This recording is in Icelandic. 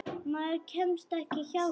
Maður kemst ekki hjá því.